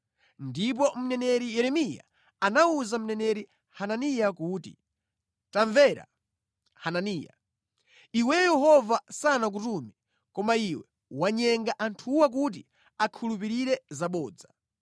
Ndipo mneneri Yeremiya anawuza mneneri Hananiya kuti, “Tamvera, Hananiya! Iweyo Yehova sanakutume, koma iwe wanyenga anthuwa kuti akhulupirire zabodza.